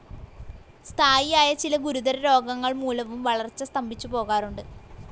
സ്ഥായിയായ ചില ഗുരുതരരോഗങ്ങൾ മൂലവും വളർച്ച സ്തംഭിച്ചു പോകാറുണ്ട്.